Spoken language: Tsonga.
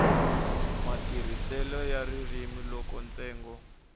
matirhiselo ya ririmi loko ntsengo